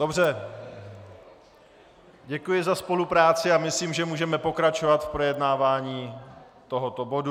Dobře, děkuji za spolupráci a myslím, že můžeme pokračovat v projednávání tohoto bodu.